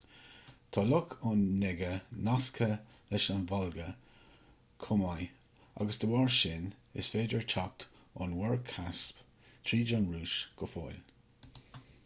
tá loch onega nasctha leis an volga chomh maith agus dá bharr sin is féidir teacht ón mhuir chaisp tríd an rúis go fóill